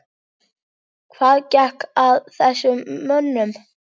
Hvað gekk að þessum mönnum?